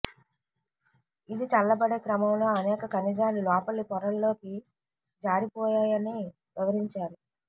ఇది చల్లబడే క్రమంలో అనేక ఖనిజాలు లోపలి పొరల్లోకి జారిపోయాయని వివరించారు